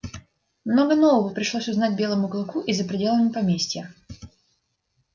много нового пришлось узнать белому клыку и за пределами поместья